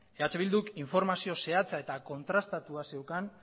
eh bilduk informazio zehatza eta kontrastatua zeukan